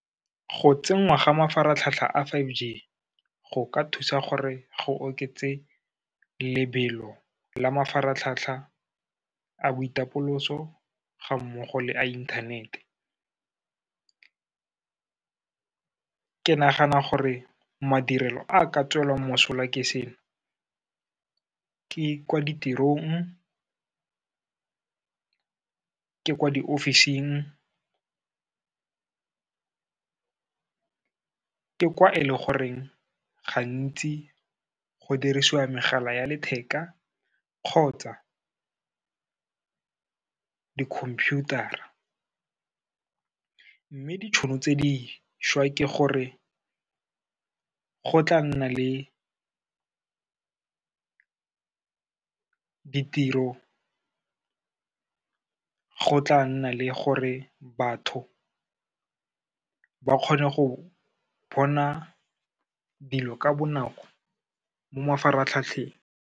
Go tsenngwa ga mafaratlhatlha a five G, go ka thusa gore go oketse lebelo la mafaratlhatlha a boitapoloso ga mmogo le a inthanete. Ke nagana gore madirelo a ka tswelwang mosola ke seno, ke kwa ditirong, ke kwa diofising, ka kwa e le goreng gantsi go dirisiwa megala ya letheka kgotsa di-computer-ra. Mme ditšhono tse dišwa ke gore, go tla nna le ditiro, go tla nna le gore batho ba kgone go bona dilo ka bonako mo mafaratlhatlheng.